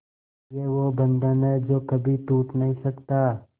ये वो बंधन है जो कभी टूट नही सकता